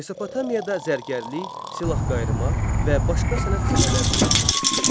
Mesopotamiyada zərgərlik, silahqayırma və başqa sənət sahələri də inkişaf etmişdi.